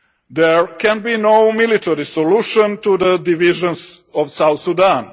There can be no military solution to the divisions of South Sudan.